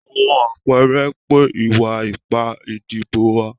Àwọn àpẹẹrẹ pé ìwà ipá ìdìbò wà